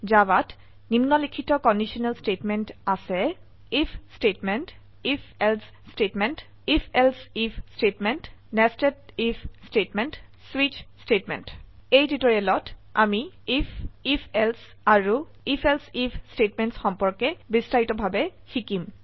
জাভাত নিম্নলিখিত conditional statement আছে আইএফ স্টেটমেন্ট ifএলছে স্টেটমেন্ট ifএলছে I F statement nested I F statement স্বিচ স্টেটমেন্ট এই টিউটোৰিয়েলত আমি আইএফ ifএলছে আৰু ifএলছে আইএফ ষ্টেটমেণ্টছ সম্পৰ্কে বিস্তাৰিতভাবে শিকিম